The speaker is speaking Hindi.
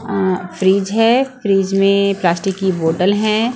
अ फ्रिज हैं फ्रिज में प्लास्टिक की बोतल हैं ।